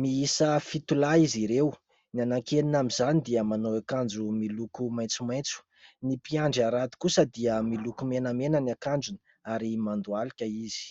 miiisa fito lahy izy ireo : ny anaky enina amin'izany dia manao akanjo miloko maitsomaitso, ny mpiandry harato kosa dia miloko menamena ny akanjony ary mandohalika izy.